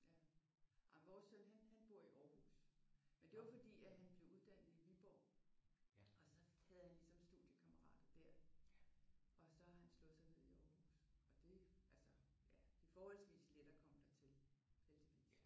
Ja. Jamen vores søn han han bor i Aarhus. Men det var fordi at han blev uddannet i Viborg og så havde han ligesom studiekammerater der. Og så har han slået sig ned i Aarhuds Og det altså det er forholdsvist let at komme dertil heldigvis